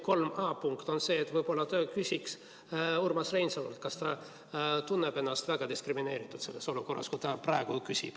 3a punkt on see, et võib-olla küsiks Urmas Reinsalult, kas ta tunneb ennast väga diskrimineeritult selles olukorras, kui ta praegu küsib.